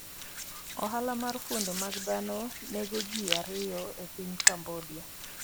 Ohala mar fuonde mag dhano nego ji ariyo e piny Cambodia